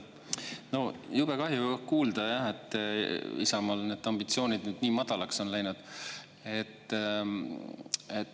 No jube kahju kuulda jah, et Isamaal need ambitsioonid nüüd nii madalaks on läinud.